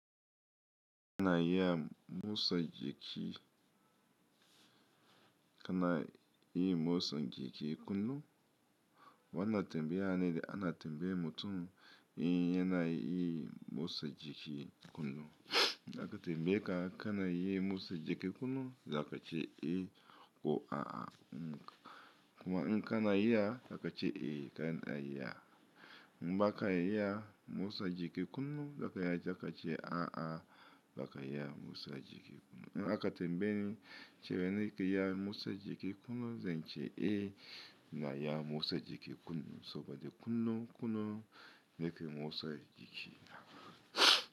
Kana iya motsa jiki, kana yi motsa jiki kullum? Wannan tambaya ne da ana tambayan mutum in yana iya motsa jiki kullum. A ka tambaye ka kana iya motsa jiki kullum, za ka ce eh ko a'a. Kuma in kana iya za ka ce eh kana iya. In ba ka iya motsa jiki kullum, za ka iya za ka ce a'a ba ka iya motsa jiki kullum. In aka tambaye ni, cewa nakan iya motsa jiki kullum, zan ce eh ina iya motsa jiki kullum. Saboda kullum-kullum nakan motsa jiki.